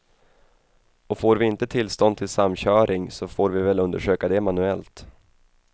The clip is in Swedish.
Och får vi inte tillstånd till samköring så får vi väl undersöka det manuellt.